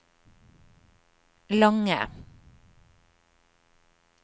lange